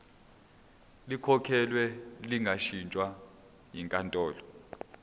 likhokhelwe lingashintshwa yinkantolo